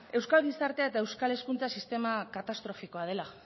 euskal gizartea eta euskal hezkuntza sistema katastrofikoa dela